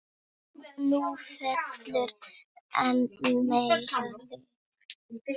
Nú fellur enn meira lið.